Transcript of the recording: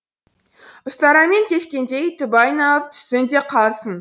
ұстарамен кескендей түбі айналып түссін де қалсын